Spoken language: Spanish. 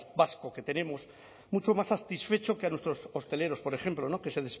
vasco que tenemos mucho más satisfecho que nuestros hosteleros por ejemplo que se